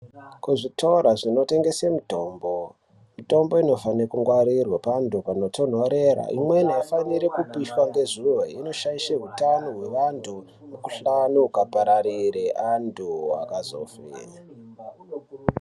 Kuzvitoro zvinotengesa mitombo, mitombo inofanire kungwarirwa pandu panotonhorera imweni irikupisha ngezuva inoshaishe hutao hwevantu mikuhlani ukazopararire vantu vakazofa .